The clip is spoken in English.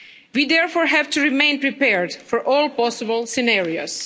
We, therefore, have to remain prepared for all possible scenarios.